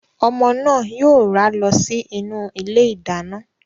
Ọmọ náà yóò rá lọ sí inú ilé ìdáná.